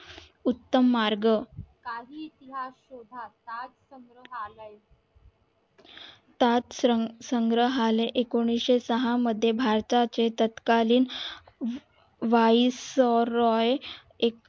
उत्तम मार्ग सात संग्रहालय एकोणीशे सहा मध्ये भरता चे तत्कालीन व्हॉइस रॉय एक